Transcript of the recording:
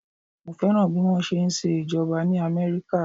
Mo fẹ́ràn bí wọ́n ṣe ń ṣe ìjọba ní Amẹ́ríkà.